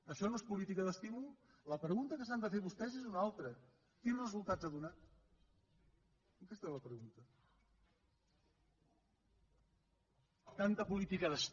això no és política d’estímul la pregunta que s’han de fer vostès és una altra quins resultats ha donat aquesta és la pregunta